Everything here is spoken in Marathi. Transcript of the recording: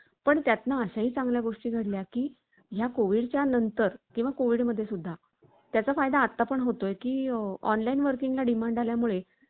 आषाढातील व्यास पोर्णिमा, म्हणजे गुरुपोर्णिमेचे महत्व जास्त वाटते. कारण, मनुष्य कितीही मोठ्या पदावर असला तरीही कामाच्या व्यापात गढला असला, तरी गो~ गुरुपोर्णिमेच्या दिवशी गुरूची प्रत,